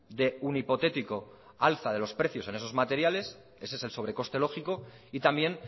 de un hipotético alza de los precios en esos materiales ese es el sobre coste lógico y también